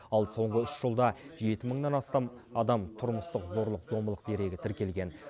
ал соңғы үш жылда жеті мыңнан астам адам тұрмыстық зорлық зомбылық дерегі тіркелген